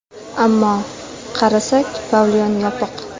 Ammo... qarasak, pavilyon yopiq.